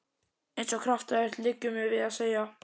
Eins og kraftaverk, liggur mér við að segja.